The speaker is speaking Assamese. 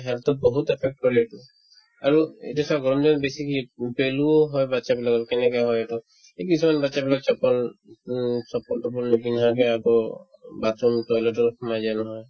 health ত বহুত affect কৰে এইটো আৰু এতিয়া চা গৰমদিনত বেছি কি উম পেলুও হয় batches বিলাকৰ কেনেকে হয় এইটো এই কিছুমান batches বিলাক chappal উম chappal টপল্ল নিপিন্ধাকে আকৌ bathroom toilet ত সোমাই যায় নহয়